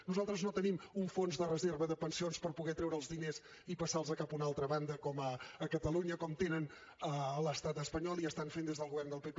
nosaltres no tenim un fons de reserva de pensions per poder treure els diners i passar los cap a una altra banda a catalunya com tenen a l’estat espanyol i estan fent des del govern del pp